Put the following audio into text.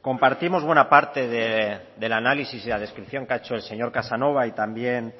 compartimos buena parte del análisis y la descripción que ha hecho el señor casanova y también